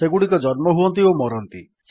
ସେଗୁଡିକ ଜନ୍ମ ହୁଅନ୍ତି ଓ ମରନ୍ତି